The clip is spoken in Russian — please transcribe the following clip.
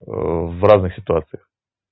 в разных ситуациях